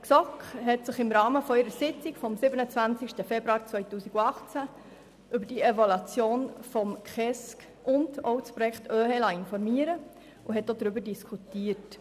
Die GSoK hat sich im Rahmen ihrer Sitzung vom 27. Februar 2018 über die Evaluation des Gesetzes über den Kindes- und Erwachsenenschutz (KESG) und das Projekt Optimierung der ergänzenden Hilfen zur Erziehung im Kanton Bern (OeHE) informieren lassen und darüber diskutiert.